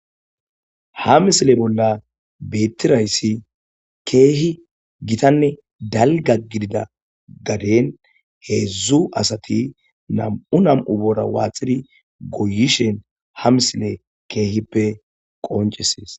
"Ha misile bolla beetidaysi keehi gitanne dalgga gidida gaden heedzdzu asati nam'u nam'u boora waaxidi goyishin ha misiley keehipe qonccisees."